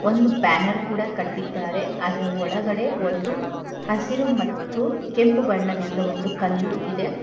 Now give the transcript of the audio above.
ಒಂದು ಬ್ಯಾನರ್ ಕೂಡ ಕಟ್ಟಿದ್ದಾರೆ ಅದರ ಒಳಗಡೆ ಒಂದು ಹಸಿರು ಮತ್ತು ಕೆಂಪು ಬಣ್ಣದಿಂದ ಒಂದು ಕಲ್ಲು ಇದೆ.